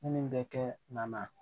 Minnu bɛ kɛ nana